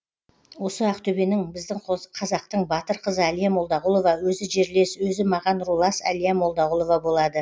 осы ақтөбенің біздің қос қазақтың батыр қызы әлия молдағұлова өзі жерлес өзі маған рулас әлия молдағулова болады